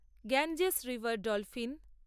Ganges river dolphin